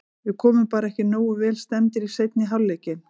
Við komum bara ekki nógu vel stemmdir í seinni hálfleikinn.